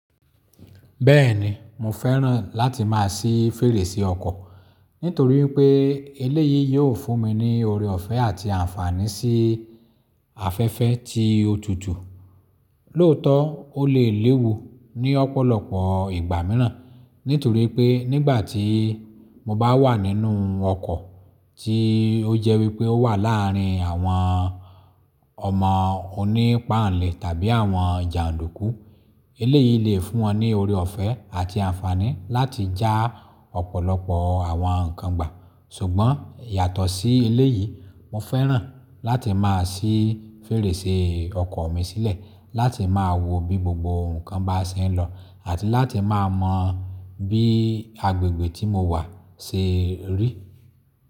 Bẹ́ẹ̀ni, mo fẹ́ràn láti má a sí fèrèsé ọkọ̀, nítorí pé eléyìí yóò fún mi ní oore ọ̀fẹ́ àti ànfàní sí afẹ́fẹ́ tí ó tutù. Lóòótọ́, ó lè léwu ní ọ̀pọ̀lọpọ̀ ìgbà mìíràn, nítorí pé nígbà tí mo bá wà nínú ọkọ̀ tí ó jẹ́ wípé ó wà láàárín àwọn ọmọ onípanle tàbí àwọn jàndùkú, eléyìí lè fún wọn ní oore ọ̀fẹ́ àti ànfàní láti já ọ̀pọ̀lọpọ̀ àwọn ǹkan gbà. Ṣùgbọ́n yàtọ̀ sí eléyìí, mo fẹ́ràn láti má a sí fèrèsé ọkọ̀ mi sílẹ̀ láti má a wo bí gbogbo ǹkan bá ṣe ń lọ àti láti má a mọ bí agbègbè tí mo wà ṣe rí.